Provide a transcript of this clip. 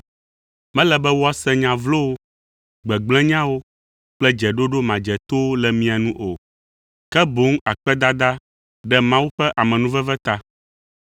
Mele be woase nya vlowo, gbegblẽnyawo kple dzeɖoɖo madzetowo le mia nu o, ke boŋ akpedada ɖe Mawu ƒe amenuveve ta.